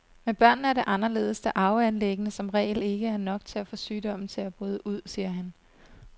Med børnene er det anderledes, da arveanlæggene som regel ikke er nok til at få sygdommen til at bryde ud, siger han.